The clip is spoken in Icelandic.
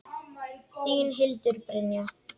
Þín, Hildur Brynja.